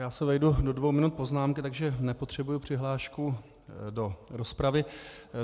Já se vejdu do dvou minut poznámky, takže nepotřebuji přihlášku do rozpravy.